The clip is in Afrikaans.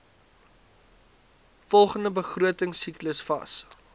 volgende begrotingsiklus vas